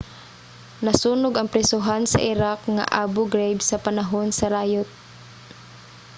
nasunog ang prisohan sa iraq nga abu ghraib sa panahon sa rayot